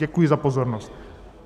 Děkuji za pozornost.